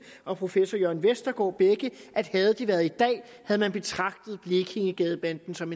og professor jørn vestergaard begge at havde det været i dag havde man betragtet blekingegadebanden som